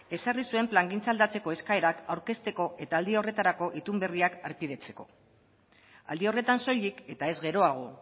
ezarri zuen plangintza aldatzeko eskaerak aurkezteko eta aldi horretarako itun berriak harpidetzeko aldi horretan soilik eta ez geroago